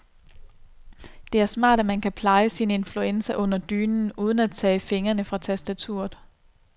Det er smart, at man kan pleje sin influenza under dynen uden at tage fingrene fra tastaturet.